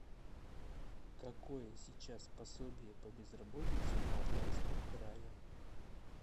какое сейчас пособие по безработице в алтайском крае